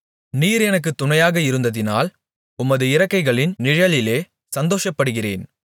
நீர் எனக்குத் துணையாக இருந்ததினால் உமது இறக்கைகளின் நிழலிலே சந்தோஷப்படுகிறேன்